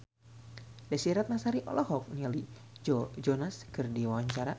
Desy Ratnasari olohok ningali Joe Jonas keur diwawancara